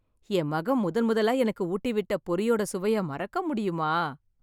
என் மகன் முதன்முதலா எனக்கு ஊட்டி விட்ட பொரியோட சுவைய மறக்க முடியுமா?